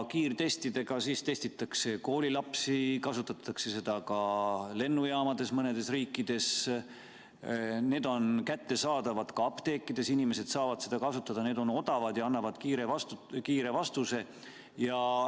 Kiirtestidega testitakse koolilapsi, mõnes riigis kasutatakse neid ka lennujaamades Need on kättesaadavad ka apteekides, inimesed saavad neid kasutada, need on odavad ja annavad kiire vastuse.